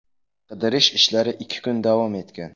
Qidirish ishlari ikki kun davom etgan.